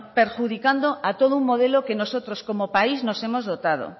perjudicando a todo un modelo que nosotros como país nos hemos dotado